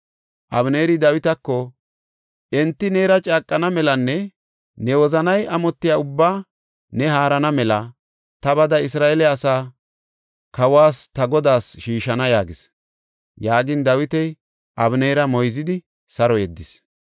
Abeneeri Dawitako, “Enti neera caaqana melanne ne wozanay amotiya ubbaa ne haarana mela ta bada Isra7eele asaa kawas ta godaas shiishana” yaagis. Yaagin Dawiti Abeneera moyzidi saro yeddis.